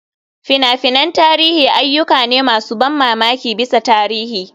Fina-finan tarihi ayyuka ne masu ban mamaki bisa tarihi.